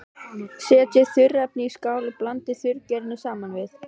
Setjið þurrefnin í skál og blandið þurrgerinu saman við.